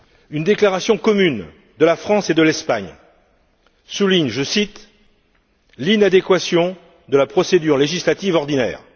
Une déclaration commune de la France et de l'Espagne souligne, je cite l'inadéquation de la procédure législative ordinaire.